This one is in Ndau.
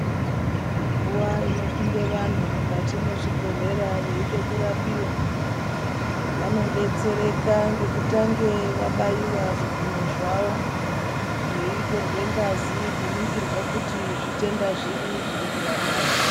Nguwa inopinde vanhu mukati mwezvibhehlera vanodetsereka ngekutange vabaiwa zvikunwe zvavo, zveitorwe ngazi kuningirwa kuti zvitenda zviri zvirikuvarwadza